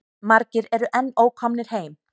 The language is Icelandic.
Margir eru enn ókomnir heim.